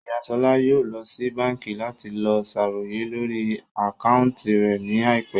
Ìyá Ṣọlá yóò lọ sí báńkì láti lọ sàròyé lórí àkáúntì rẹ̀ ní àìpẹ́